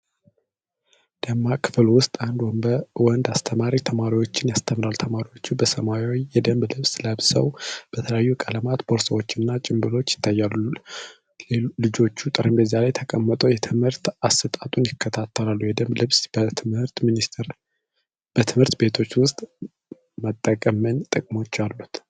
ደማቅ ክፍል ውስጥ አንድ ወንድ አስተማሪ ተማሪዎቹን ያስተምራል። ተማሪዎቹ በሰማያዊ የደንብ ልብስ ለብሰው በተለያዩ ቀለማት ቦርሳዎችና ጭንብሎች ይታያሉ። ልጆቹ ጠረጴዛ ላይ ተቀምጠው የትምህርት አሰጣጡን ይከታተላሉ። የደንብ ልብስ በትምህርት ቤቶች ውስጥ መጠቀም ምን ጥቅሞች አሉት?